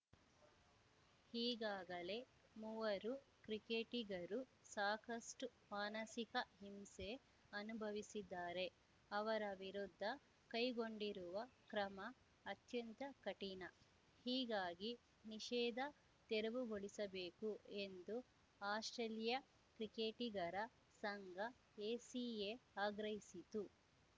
ಈಗಾಗಲೇ ಮೂವರು ಕ್ರಿಕೆಟಿಗರು ಸಾಕಷ್ಟುಮಾನಸಿಕ ಹಿಂಸೆ ಅನುಭವಿಸಿದ್ದಾರೆ ಅವರ ವಿರುದ್ಧ ಕೈಗೊಂಡಿರುವ ಕ್ರಮ ಅತ್ಯಂತ ಕಠಿಣ ಹೀಗಾಗಿ ನಿಷೇಧ ತೆರವುಗೊಳಿಸಬೇಕು ಎಂದು ಆಸ್ಪ್ರೇಲಿಯಾ ಕ್ರಿಕೆಟಿಗರ ಸಂಘ ಎಸಿಎ ಆಗ್ರಹಿಸಿತು